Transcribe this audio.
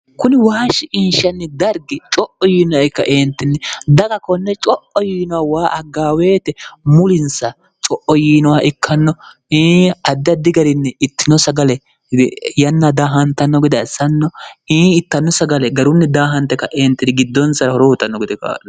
kuni waashshi inshanni dargi co'o yiinohe kaeentinni daga konne co'o yiinoh waa aggaaweete mulinsa co'o yiinoha ikkanno ii addaddi garinni ittino sagale yanna daahantanno godaassanno ii ittanno sagale garunni daahante kaeentinn giddonsara horohutanno gode kaarno